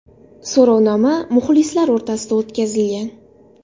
So‘rovnoma muxlislar o‘rtasida o‘tkazilgan.